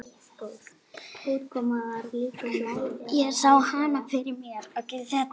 Ég sá hana fyrir mér.